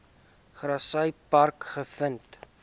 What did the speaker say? grassy park gevind